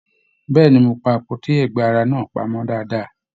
Bẹ̀ẹ́ni, mo pá àpótí ẹgba ara náà pamọ dáadáa.